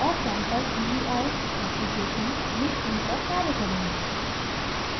और sample gui application में उन पर कार्य करेंगे